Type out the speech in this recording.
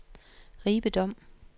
Ribe Dom